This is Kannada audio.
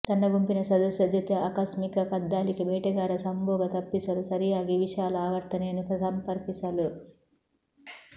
ತನ್ನ ಗುಂಪಿನ ಸದಸ್ಯ ಜೊತೆ ಆಕಸ್ಮಿಕ ಕದ್ದಾಲಿಕೆ ಬೇಟೆಗಾರ ಸಂಭೋಗ ತಪ್ಪಿಸಲು ಸರಿಯಾಗಿ ವಿಶಾಲ ಆವರ್ತನೆಯನ್ನು ಸಂಪರ್ಕಿಸಲು